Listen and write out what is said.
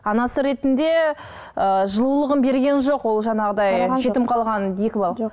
анасы ретінде ыыы жылулығын берген жоқ ол жаңағыдай жетім қалған екі